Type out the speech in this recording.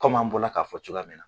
an bɔla k'a fɔ cogoya min na